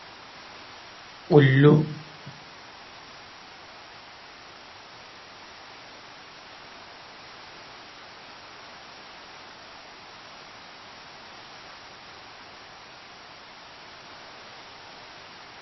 Goɗɗo ɗo jogi darooyel kullu be korel njamni haa nder kullu may. Woodi parantiyel daneeyel haa sera be kullu man. Nda paalon daneehon be maagi، mannda, onnga be luttuɗum haa nder maakon.